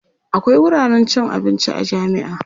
akwia wuraren cin abinci a jami'a